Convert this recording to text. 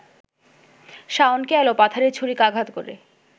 শাওনকে এলোপাথাড়ি ছুরিকাঘাত করে